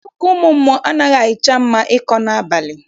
Akụkọ ụmụ mmụọ anaghịcha mma ịkọ n'abalị.